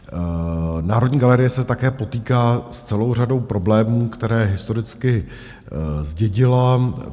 Národní galerie se také potýká s celou řadou problémů, které historicky zdědila.